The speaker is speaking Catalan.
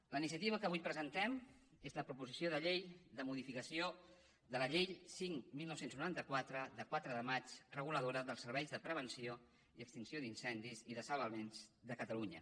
la iniciativa que avui presentem és la proposició de llei de modificació de la llei cinc dinou noranta quatre de quatre de maig reguladora dels serveis de prevenció i extinció d’incendis i de salvaments de catalunya